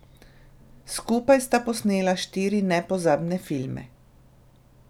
Skupaj sta posnela štiri nepozabne filme.